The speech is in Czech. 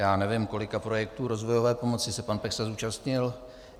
Já nevím, kolika projektů rozvojové pomoci se pan Peksa zúčastnil.